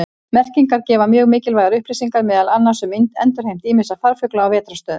Merkingar gefa mjög mikilvægar upplýsingar meðal annars um endurheimt ýmissa farfugla á vetrarstöðvum.